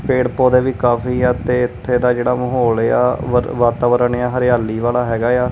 ਪੇੜ ਪੌਧੇ ਵੀ ਕਾਫੀ ਆ ਤੇ ਇੱਥੇ ਦਾ ਜਿਹੜਾ ਮਾਹੌਲ ਆ ਵਰ ਵਾਤਾਵਰਣ ਆ ਹਰਿਆਲੀ ਵਾਲਾ ਹੈਗਾ ਆ।